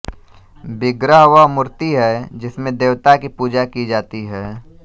विग्रह वह मूर्ति है जिसमें देवता की पूजा की जाती है